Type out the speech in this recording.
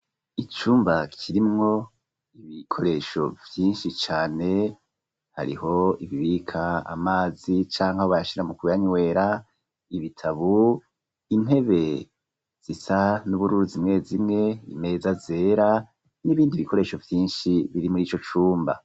Icumba, kirimwo, ibikoresho vyinshi cane ,hariho ibibika Amazi, cangwa bayashira mu kuyanywera ,ibitabu ,Intebe zisa n'ubururu, zimwe zimwe ,Imeza zera ,n'ibindi bikoresho vyinshi ,biri muri ico cumba.